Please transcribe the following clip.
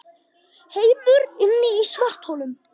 Heimur inni í svartholum